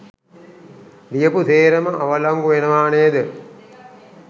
ලියපු සේරම අවලංගු වෙනවා නේද?